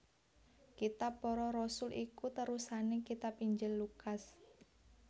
Kitab Para Rasul iku terusané kitab Injil Lukas